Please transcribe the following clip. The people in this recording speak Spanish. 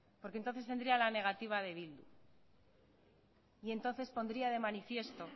porque entonces tendría la negativa de bildu y entonces pondría de manifiesto